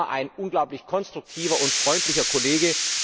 Er war immer ein unglaublich konstruktiver und freundlicher Kollege.